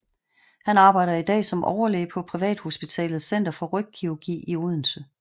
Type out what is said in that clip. Han arbejder i dag som overlæge på privathospitalet Center for Rygkirurgi i Odense